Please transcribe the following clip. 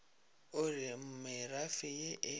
o re merafe ye e